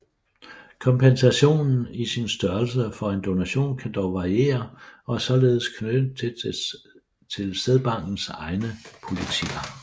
Kompensationen i sin størrelse for en donation kan dog variere og er således knyttet dels til sædbankers egne politikker